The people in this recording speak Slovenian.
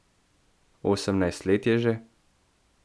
Osemnajst let je že?